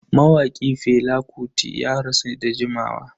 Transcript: Mawaki Fela Kuti ya rasu da jimawa.